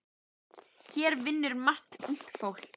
Hér vinnur margt ungt fólk.